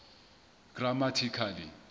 grammatical